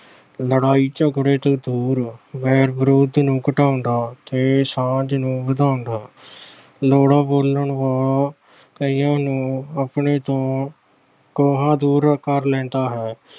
ਲੜਾਈ-ਝਗੜੇ ਤੋਂ ਦੂਰ ਵੈਰ-ਵਿਰੋਧ ਨੂੰ ਘਟਾਉਂਦਾ ਤੇ ਸਾਂਝ ਨੂੰ ਵਧਾਉਂਦਾ। ਕੌੜਾ ਬੋਲਣ ਵਾਲਾ ਕਈਆਂ ਨੂੰ ਆਪਣੇ ਤੋਂ ਕੋਹਾਂ ਦੂਰ ਕਰ ਲੈਂਦਾ ਹੈ।